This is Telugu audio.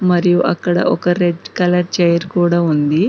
మరియు అక్కడ ఒక రెడ్ కలర్ చైర్ కూడా ఉంది.